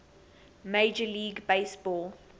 major league baseball